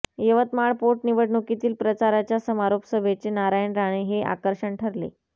यवतमाळ पोटनिवडणुकीतील प्रचाराच्या समारोप सभेचे नारायण राणे हे आकर्षण ठरले